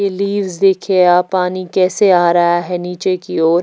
Please देखे यहां पानी कैसे आ रहा है नीचे की ओर।